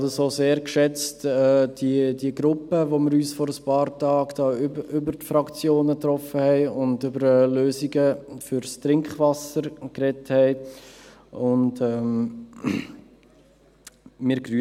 Ich habe auch diese Gruppe sehr geschätzt, mit welcher wir uns über die Fraktionen hinaus getroffen und über Lösungen für das Trinkwasser gesprochen haben.